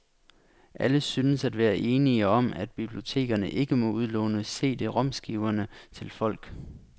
Alle synes at være enige om, at bibliotekerne ikke må udlåne CDromskiverne til folk.